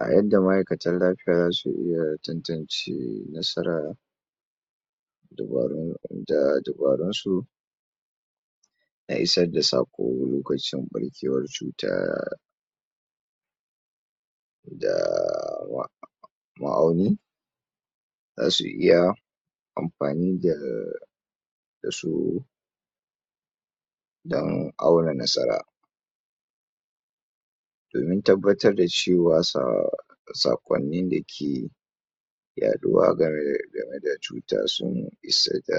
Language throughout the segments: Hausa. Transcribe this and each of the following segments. A yadda ma'aikatan lafiya zasu iya tantance nasara da dabarun su na isar da saƙo lokacin ɓarkewar cuta da wa ma'auni zasu iya amfani da da su dan auna nasara domin tabbatar da cewa sa saƙonnin da ke yaɗuwa game da cutar sun isa da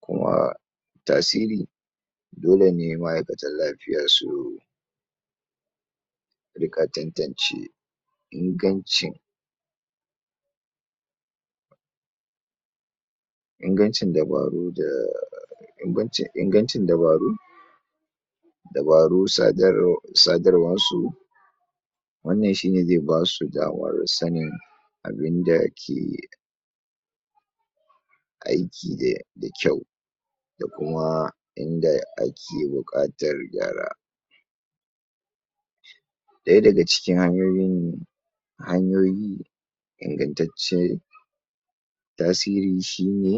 kuma tasiri dole ne ma'aikatan lafiya su riƙa tantance ingancin ingancin dabaru da banbancin ingancin dabaru dabarun sadarwar su wannan shi ne zai basu damar sanin abinda ke aiki da kyau da kuma inda ake buƙatar gyara ɗaya daga cikin hanyoyin hanyoyi ingantace tasiri shi ne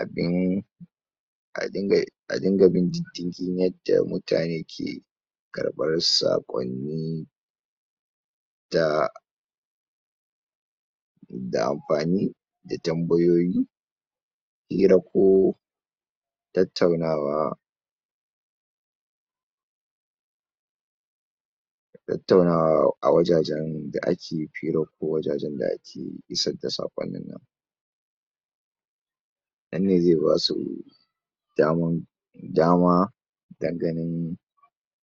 abin a dinga bin diddigi na taya mutane karɓar saƙonni da da amfani da tambayoyi hira ko tattaunawa tattaunawa a wajajen da ake hira ko wajajen da ake isar da saƙonni ma nan ne zai basu daman dama dan ganin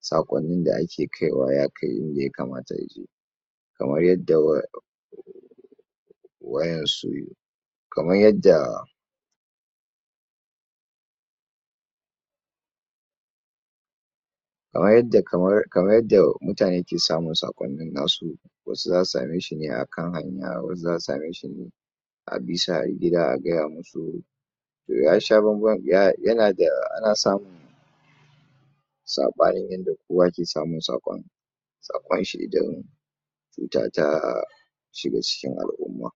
saƙonnin da ake kaiwa ya kai inda yakamata ya je kamar yadda wa waƴan su kamar yadda kamar yadda mutane ke samun saƙonnin na su wasu zasu same shi ne akan hanya, wasu zasu same shi ne a bi su har gida a gaya musu ya sha banban yana da ana samu saɓani inda kowa ke samun saƙon saƙon shi da kintata shiga cikin al'umma.